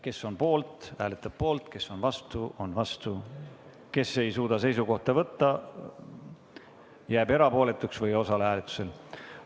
Kes on poolt, hääletab poolt, kes on vastu, hääletab vastu, kes ei suuda seisukohta võtta, jääb erapooletuks või ei osale hääletusel.